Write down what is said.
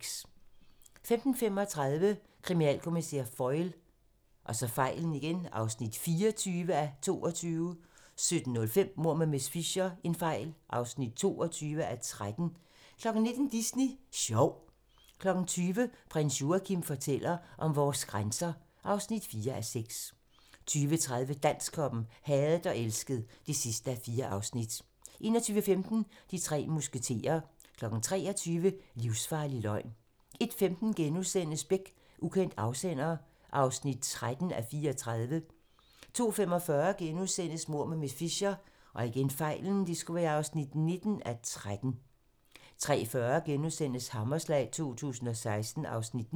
15:35: Kriminalkommissær Foyle (24:22) 17:05: Mord med miss Fisher (22:13) 19:00: Disney Sjov 20:00: Prins Joachim fortæller om vores grænser (4:6) 20:30: Dansktoppen: Hadet og elsket (4:4) 21:15: De tre musketerer 23:00: Livsfarlig løgn 01:15: Beck: Ukendt afsender (13:34)* 02:45: Mord med miss Fisher (19:13)* 03:40: Hammerslag 2016 (Afs. 9)*